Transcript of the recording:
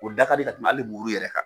O da ka di ka tɛmɛ hali muru yɛrɛ kan.